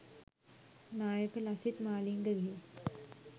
නායක ලසිත් මාලිංගගේ